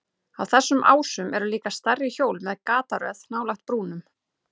Á þessum ásum eru líka stærri hjól með gataröð nálægt brúnum.